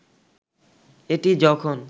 এটি যখন